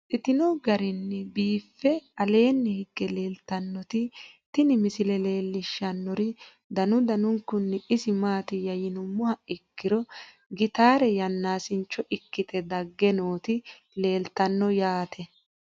Babaxxittinno garinni biiffe aleenni hige leelittannotti tinni misile lelishshanori danu danunkunni isi maattiya yinummoha ikkiro gittare yanaasincho ikkitte dage nootti leelittanno yaatte.